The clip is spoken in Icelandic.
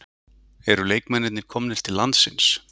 Eru leikmennirnir komnir til landsins?